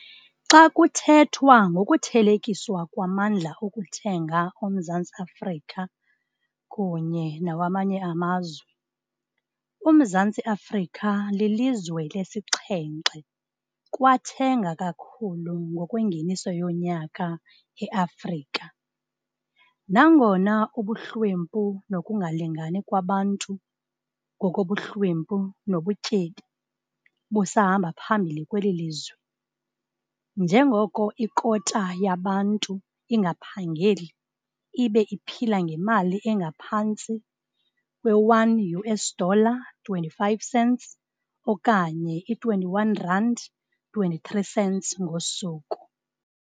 Xa kuthethwa ngokuthelekiswa kwamndla okuthenga oMzantsi Afrika kunye nawamanye amazwe, uMzantsi Afrika lilizwe lesixhenxe kwathenga kakhulu ngokwengeniso yonyaka eAfrika, nangona ubuhlwempu nokungalingani kwabantu ngokobuhlwempu nobutyebi busahamba phambili kweli lizwe, njengoko ikota yabantu ingaphangeli ibe iphila ngemali engaphantsi kwe-1 US dollar 25 cents okanye i-R21,23 ngosuku.